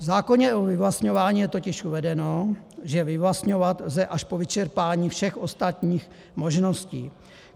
V zákoně o vyvlastňování je totiž uvedeno, že vyvlastňovat lze až po vyčerpání všech ostatních možností.